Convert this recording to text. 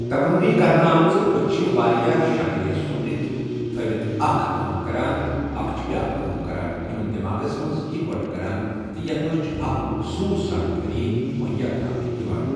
تقرُری كرنہٕ آمژٕ اچھہِ وارِیاہ شكلہٕ سومبرِتھ تھأوتھ اَکھ كٲم كران ، اكھ چُھ بیاكھ کٲم کران، یمن دیماغس منز اِكوٹہٕ كران ، تہٕ یتھ منز چُھ اكھ مخصوٗص زانكٲری مہیار تھاونہٕ یوان۔